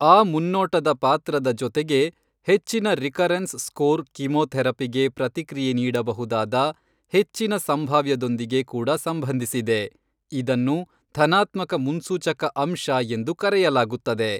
ಆ ಮುನ್ನೋಟದ ಪಾತ್ರದ ಜೊತೆಗೆ, ಹೆಚ್ಚಿನ ರಿಕರೆನ್ಸ್ ಸ್ಕೋರ್ ಕೀಮೋಥೆರಪಿಗೆ ಪ್ರತಿಕ್ರಿಯೆ ನೀಡಬಹುದಾದ ಹೆಚ್ಚಿನ ಸಂಭಾವ್ಯದೊಂದಿಗೆ ಕೂಡ ಸಂಬಂಧಿಸಿದೆ, ಇದನ್ನು ಧನಾತ್ಮಕ ಮುನ್ಸೂಚಕ ಅಂಶ ಎಂದು ಕರೆಯಲಾಗುತ್ತದೆ.